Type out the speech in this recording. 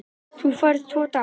Þú færð tvo daga.